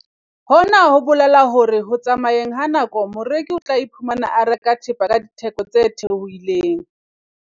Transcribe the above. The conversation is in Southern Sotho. Hona ho bolela hore ho tsamayeng ha nako moreki o tla iphumana a reka thepa ka ditheko tse theohileng.